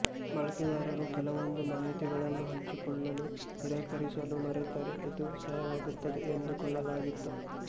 ಬಳಕೆದಾರರು ಕೆಲವೊಂದು ಮಾಹಿತಿಗಳನ್ನು ಹಂಚಿಕೊಳ್ಳಲು ನಿರಾಕರಿಸಲು ಮರೆತರೆ ಇದು ಸಹಾಯವಾಗುತ್ತದೆ ಎಂದುಕೊಳ್ಳಲಾಗಿತ್ತು